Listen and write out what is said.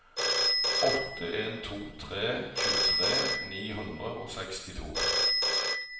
åtte en to tre tjuetre ni hundre og sekstito